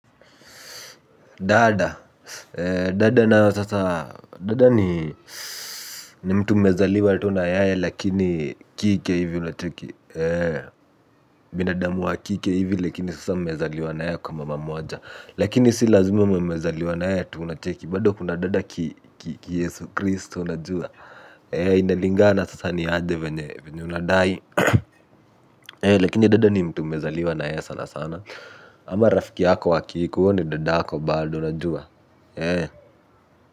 Dada, dada nayo sasa, dada ni mtu mmezaliwa tu na yae lakini kike hivi unacheki, binadamu wa kike hivi lakini sasa mezaliwa na yae kwa mama moja, lakini si lazima mmezaliwa na yae tu unacheki, bado kuna dada ki yesu kristo unajua, inalingana sasa ni aje venye venye unadai, lakini dada ni mtu mezaliwa na yae sana sana, ama rafiki yako wakike, huo ni dadako bado unajua,